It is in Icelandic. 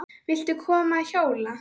Viltu koma að hjóla?